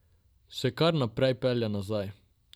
Še kar naprej pelje nazaj.